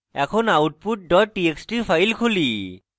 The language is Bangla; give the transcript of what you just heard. এখন output dot txt file খুলি